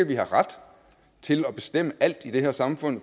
vi har ret til at bestemme alt i det her samfund